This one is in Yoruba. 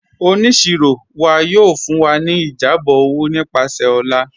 Ọniṣirọ wa yóò fún wa ni ìjábọ̀ owo nípasẹ̀ ọ̀là.